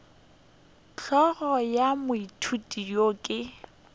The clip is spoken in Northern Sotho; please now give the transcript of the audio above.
hlogo ya moithuti yo ke